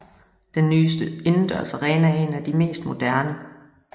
Den nye indendørs arena er en af de mest moderne